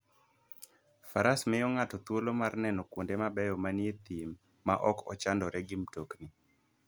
Faras miyo ng'ato thuolo mar neno kuonde mabeyo manie thim maok ochandore gi mtokni.